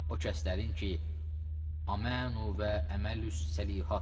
O kəslərin ki, amanu və əməlu səlixat.